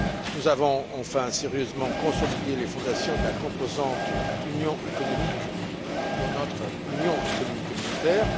Nous avons enfin sérieusement consolidé les fondations de la composante économique de notre union économique et monétaire.